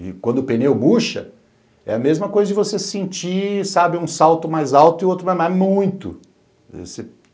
E quando o pneu murcha, é a mesma coisa de você sentir, sabe, um salto mais alto e outro mais baixo, mas muito.